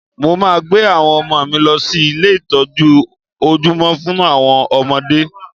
Mo maa gbé àwọn ọmọ mi lọ sí ilé ìtọ́jú ojúmọ́ fún àwọn ọmọdé